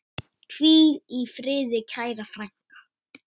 Hvíl í friði kæra frænka.